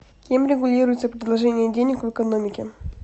кем регулируется предложение денег в экономике